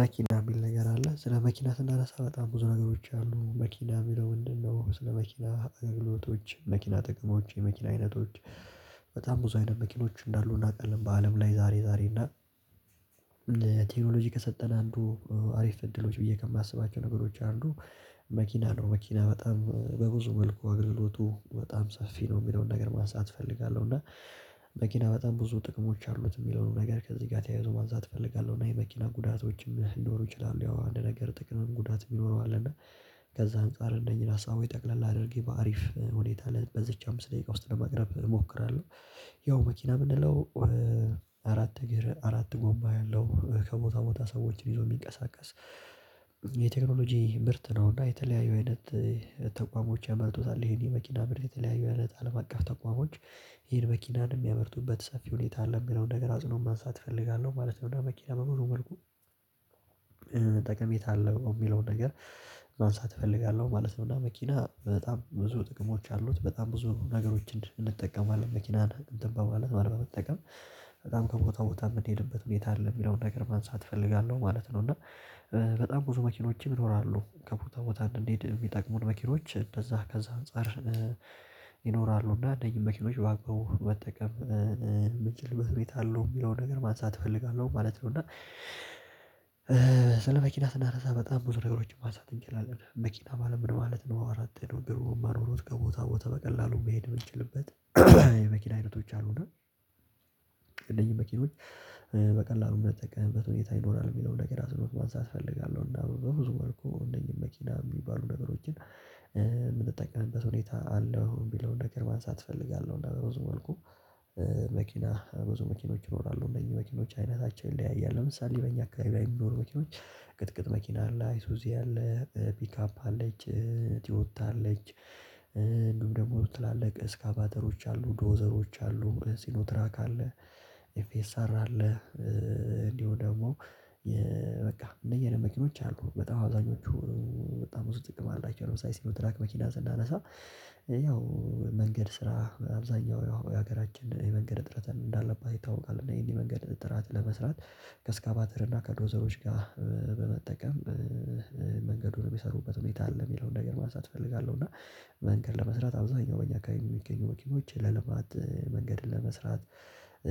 መኪና የሚል ነገር አለ ስለ መኪና ስንደረሳ በጣም ብዙ ነገሮች አሉ የሚለውን ነው ስለ መኪና አገልግሎቶች መኪና ጥቅሞች የመኪና አይነቶች በጣም ብዙ አይነት መኪኖች እንዳሉ እናውቃለን በዐለም ላይ ዛሬ ዛሬ እና ቴክኖሎጂ ከሰጠን አንዱ አሪፍ እድሎች ብዬ ከማስባቸው ነገሮች አንዱ መኪና ነው። መኪና በጣም በብዙ መልኩ አገልግሎቱ በጣም ሰፊ ነው የሚለውን ነገር ማሳየት እፈልጋለሁ። እና መኪና በጣም ብዙ ጥቅሞች አሉት የሚለውን ነገር ከዚህ ጋር ተያይዞ ማዛት እፈልጋለሁ እና የመኪና ጉዳቶችም ሊኖሩ ይችላሉ። ያው አንድ ነገር ጥቅምም ጉዳት የሚኖረው አለ እና ከዛ አንፃር እነኛ ሀሳቦች ጠቅለል አድርጌ በአሪፍ ሁኔታ ላይ በዚች አምስት ደቂቃ ውስጥ ለመቅረብ እሞክራለሁ። ያው መኪና ምንድነው? አራት እግር አራት ጎማ ያለው ከቦታ ቦታ ሰዎችን ይዞ የሚንቀሳቀስ። የቴክኖሎጂ ምርት ነውና የተለያዩ አይነት ተቋሞች ያመርቱታል ይሄን የመኪና ምርት የተለያዩ ያለ ጣልም አቀፍ ተቋሞች ይሄን መኪናን የሚያመርቱበት ሰፊ ሁኔታ አለ። የሚለውን ነገር አጽኖ ማንሳት እፈልጋለሁ ማለት ነው። መኪና በሙሉ መልኩ ጠቀሜታ አለው የሚለውን ነገር ማንሳት እፈልጋለሁ ማለት ነው። እና መኪና በጣም ብዙ ጥቅሞች አሉት በጣም ብዙ ነገሮችን እንጠቀማለን መኪናን እንትን በማለት ነው አልበመጠቀም በጣም ከቦታ ቦታ የምትሄድበት ሁኔታ አለ የሚለውን ነገር ማንሳት እፈልጋለሁ ማለት ነው። እና በጣም ብዙ መኪኖችም ይኖራሉ ከብሩታ ቦታ እንድንሄድ የሚጠቅሙን መኪኖች እንደዛ ከዛ አንፃር ይኖራሉ እና እነኝህ መኪኖች ባቀቡ መጠቀም መቼም በህሊና ቤት አለው የሚለውን ነገር ማንሳት እፈልጋለሁ ማለት ነው። እና ስለ መኪና ስናነሳ በጣም ብዙ ነገሮችን ማሳተን እንችላለን መኪና ባለምን ማለት ነው አራት አራት አመት ነው ግሩም አሮሮት ከቦታ ቦታ በቀላሉ መሄድ ብንችልበት የመኪና አይነቶች አሉና እነኝህ መኪኖች በቀላሉ የምንጠቀምበት ሁኔታ ይኖራል የሚለውን ነገር አስሩት ማንሳት እፈልጋለሁ። እና በብዙ ወርኩ እንደኛ መኪና የሚባሉ ነገሮችን የምትጠቀምበት ሁኔታ አለው። የሚለውን እንደገርማን ሳትፈልጋለሁ እና በሮዝ መልኩ መኪና ብዙ መኪኖች ይኖራሉ እነዚህ መኪኖች አይነታቸውን ይለያያል ለምሳሌ በእኛ አካባቢ ላይ የሚኖሩ መኪኖች። ቅጥቅጥ መኪና አለ አይሱ እዚህ አለ ፒካፕ አለች ትወጣለች ደግሞ ትላልቅ እስከ አባተሮች አሉ ዶዘሮች አሉ ሲኖትራክ አለ ኤፍኤስአር አለ እንዲሁ ደግሞ በቃ እንደየለም መኪኖች አሉ በጣም አብዛኞቹ በጣም ብዙ ጥቅም አላቸው። ሳይሆን ትራክ መኪና ስናነሳ ያው መንገድ ስራ አብዛኛው የሀገራችን የሀገራችንን የመንገድ እጥረትን እንዳለባት ይታወቃል። እና የኔ መንገድ እጥረት ለመስራት ከእስካባተር እና ከዶዘሮች ጋር በመጠቀም መንገዱን የሚሰሩበት ሁኔታ አለ የሚለውን ነገር ማሳት እፈልጋለሁ። እና መንገድ ለመስራት አብዛኛው በእኛ ከሚገኙ ወኪሞች ለልማት መንገድን ለመስራት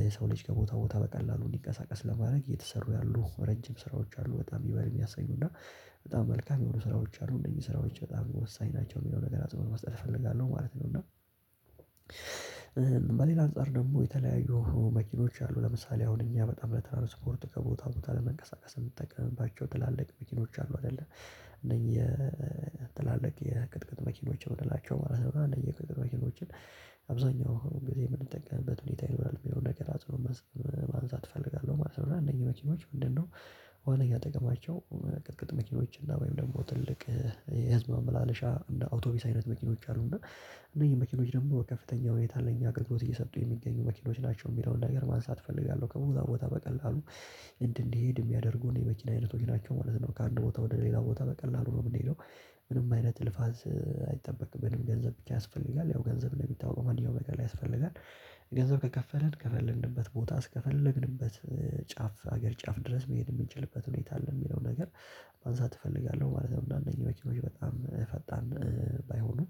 የሰው ልጅ ከቦታ ቦታ በቀላሉ ሊንቀሳቀስ ለማድረግ እየተሰሩ ያሉ ረጅም ስራዎች አሉ በጣም ይበል የሚያሳዩና በጣም መልካም የሆኑ ስራዎች አሉ እንደዚህ ስራዎች በጣም ወሳኝ ናቸው የሚለው ነገር አጽንኦት ማስተር እፈልጋለሁ ማለት ነው። እና በሌላ አንፃር ደግሞ የተለያዩ መኪኖች አሉ ለምሳሌ አሁን እኛ በጣም ለትራንስፖርት ከቦታ ቦታ ለመንቀሳቀስ የምንጠቀምባቸው ትላልቅ መኪኖች አሉ አይደለ እነዚህ የትላልቅ የቅጥቅጥ መኪኖችን የምንላቸው ማለት ነው እና እንደየቅጥ መኪኖችን አብዛኛው ጊዜ የምንጠቀምበት ሁኔታ ይሆናል የሚለው ነገር አጽንኦት ማብዛት እፈልጋለሁ ማለት ነው። እና እነኚህ መኪኖች ምንድነው? ዋነኛ ጥቅማቸው ቅጥቅጥ መኪኖች እና ወይም ደግሞ ትልቅ የህዝብ ማመላለሻ እና አውቶቢስ አይነት መኪኖች አሉና እነዚህ መኪኖች ደግሞ ከፍተኛ ወይታ ለኛ አገልግሎት እየሰጡ የሚገኙ መኪኖች ናቸው። የሚለውን ነገር ማንሳት እፈልጋለሁ ከሞታ ቦታ በቀላሉ እንድንሄድ የሚያደርጉ የመቼም አይነቶች ናቸው ማለት ነው። ከአንድ ቦታ ወደ ሌላ ቦታ በቀላሉ ነው የምንሄደው ምንም አይነት እልፋስ አይጠበቅም ምንም ገንዘብ ያስፈልጋል ያው ገንዘብ ለሚታወቀው መልካም ለቀላ ያስፈልጋል ገንዘብ ከከፈልን ከፈለንንበት ቦታ አስከፈለግንበት ጫፍ ሀገር ጫፍ ድረስ መሄድ የሚችልበት ሁኔታ አለ የሚለው ነገር ማንሳት እፈልጋለሁ ማለት ነው። እንደአንደኛው መኪኖች በጣም ፈጣን ባይሆኑም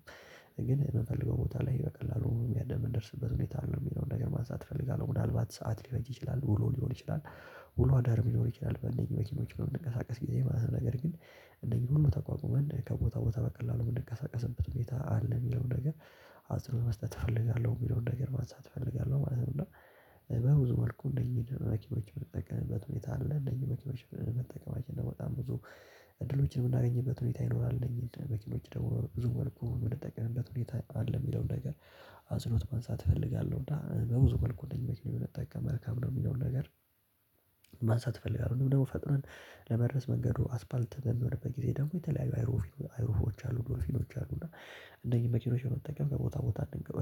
ግን የምፈልገው ቦታ ላይ በቀላሉ የሚያደርግ የምንደርስበት ሁኔታ አለ የሚለውን ነገር ማሳተፍ እፈልጋለሁ። ምናልባት ሰዓት ሊረጅ ይችላል ውሎ ሊሆን ይችላል ውሎ አዳር ሊኖር ይችላል በእነኚህ መኪኖች ነው የምንቀሳቀስ ጊዜ ማለት ነው ነገር ግን እነኚህን ሁሉ ተቋቁመን ከቦታ ቦታ በቀላሉ እንደተቀሰቀሰበት ሁኔታ አለ የሚለውን ነገር አጽንኦ መስጠት እፈልጋለሁ የሚለውን ነገር ማንሳት እፈልጋለሁ ማለት ነው። እና በብዙ መልኩ እንደኚህ መኪናዎች በመጠቀም በት ሁኔታ አለ እንደኚህ መኪኖች በመጠቀማችን እንደው በጣም ብዙ እድሎችን የምናገኝበት ሁኔታ ይኖራል በቂ ልጅ ደግሞ ብዙ ወርኩ የምትጠቀምበት ሁኔታ አለ የሚለውን ነገር በአጽንኦት ማንሳት እፈልጋለሁ እና በብዙ መልኩ እንደኛ መጠቀም መልካም ነው። የሚለውን ነገር ማንሳት እፈልጋለሁ ደግሞ ፈጥነን ለመድረስ መንገዱ አስፓልት በሚሆንበት ጊዜ ደግሞ የተለያዩ አይሮፊኖች አሉ ዶልፊኖች አሉ እና እንደኚህ መኪኖች የመጠቀም ከቦታ ቦታ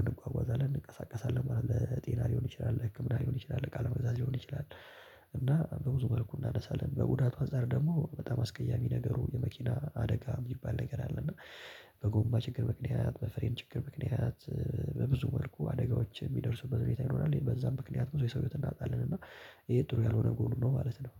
እንጓጓዛለን እንቀሳቀሳለን ለጤና ሊሆን ይችላል። ህክምና ሊሆን ይችላል ቃለመግዛት ሊሆን ይችላል እና በብዙ መልኩ እናደርሳለን በቡዳቱ አንፃር ደግሞ በጣም አስቀያሚ ነገሩ የመኪና አደጋ የሚባል ነገር አለ። እና በጎማ ችግር ምክንያት በፍሬን ችግር ምክንያት በብዙ መልኩ አደጋዎች የሚደርሱበት ቤተሰብ በዛም ምክንያት ብዙ የሰው እውቀት እናጣለን እና ይሄ ጥሩ ያልሆነ ጎሉን ነው። ማለት ነው።